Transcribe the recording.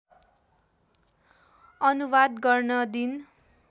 अनुवाद गर्न दिन